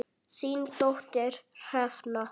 Þín dóttir Hrefna.